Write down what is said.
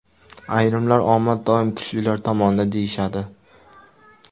Ayrimlar omad doim kuchlilar tomonida deyishadi.